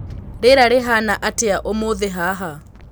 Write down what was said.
rĩera rĩhana atĩaũmũthĩ haha